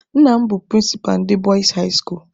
Nna m bụ prịnsịpa ndị Bọịs hai skuulu.